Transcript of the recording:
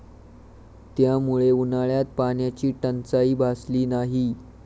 त्यामुळे उन्हाळ्यात पाण्याची टंचाई भासली नाही.